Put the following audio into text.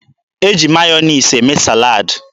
E ji Meyọnez eme salad.